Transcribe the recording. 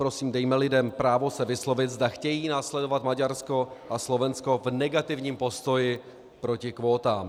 Prosím, dejme lidem právo se vyslovit, zda chtějí následovat Maďarsko a Slovensko v negativním postoji proti kvótám.